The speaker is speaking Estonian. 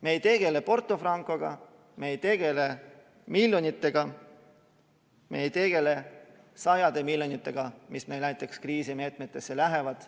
Me ei tegele Porto Francoga, me ei tegele miljonitega, me ei tegele sadade miljonitega, mis meil näiteks kriisimeetmetesse lähevad.